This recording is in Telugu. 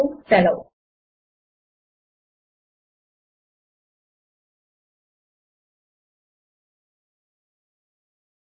ఇంక విరమిస్తున్నాము